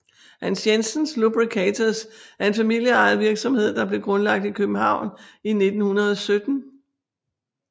Hans Jensen Lubricators er en familieejet virksomhed der blev grundlagt i København i 1917